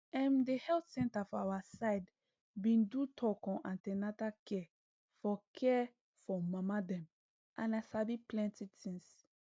em the health center for our side been do talk on an ten atal care for care for mama dem and i sabi plenty things